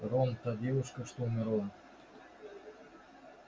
рон та девушка что умерла